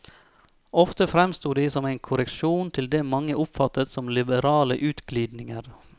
Ofte fremsto de som en korreksjon til det mange oppfattet som liberale utglidninger.